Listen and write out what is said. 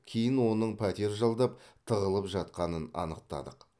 кейін оның пәтер жалдап тығылып жатқанын анықтадық